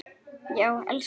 Já, elsku Engifer minn.